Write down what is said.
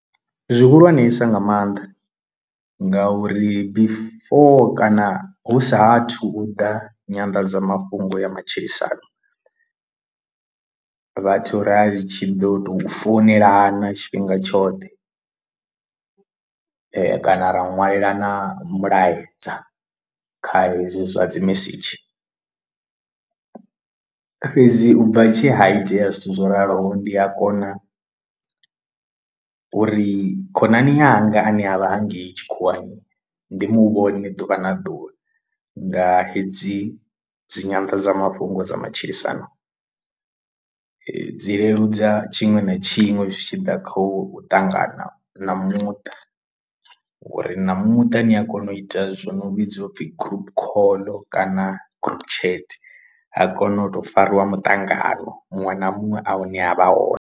Zwihulwansa nga maanḓa ngauri before kana hu sa athu u ḓa nyanḓadzamafhungo ya matshilisano vhathu rari tshi ḓo tou founelena tshifhinga tshoṱhe kana ra ṅwalela na mulaedza kha hezwi zwa dzi mesedzhi, fhedzi u bva tshi ha itea zwithu zwo raloho ndi a kona uri khonani yanga ane avha hangei tshikhuwani ndi muvhona ḓuvha na ḓuvha nga hedzi dzi nyanḓadzamafhungo dza matshilisano. Dzi leludza tshiṅwe na tshiṅwe zwi tshi ḓa kha u ṱangana na muṱa ngori na muṱa ni a kona u ita zwo no vhidzwa u pfhi gurupu call kana gurupu chat ha kona u tou fariwa muṱangano muṅwe na muṅwe a hune ha vha hone.